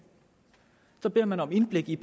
så bad man om indblik i